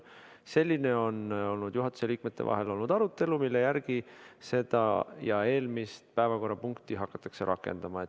Selline on juhatuse liikmete vahel olnud arutelu, mille järgi seda ja eelmist päevakorrapunkti hakatakse rakendama.